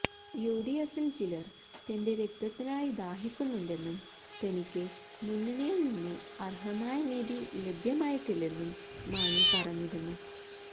യുഡിഎഫില് ചിലര് തന്റെ രക്തത്തിനായി ദാഹിക്കുന്നുണ്ടെന്നും തനിക്ക് മുന്നണിയില് നിന്ന് അര്ഹമായ നീതി ലഭ്യമായിട്ടില്ലെന്നും മാണി പറഞ്ഞിരുന്നു